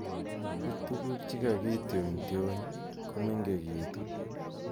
But tuguk che kakitionyotiony komengekitun.